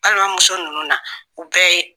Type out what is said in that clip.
Balimamuso ninnu na u bɛɛ ye